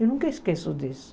Eu nunca esqueço disso.